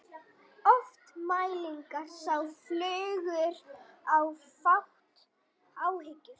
Oft mælir sá fagurt er flátt hyggur.